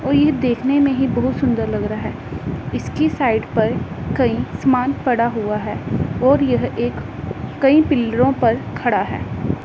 और यह देखने में ही बहुत सुंदर लग रहा है इसकी साइड पर कई सामान पड़ा हुआ है और यह एक कई पिलरों पर खड़ा है।